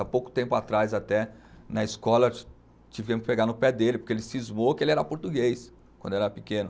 Há pouco tempo atrás até, na escola, ti tivemos que pegar no pé dele, porque ele cismou que ele era português quando era pequeno.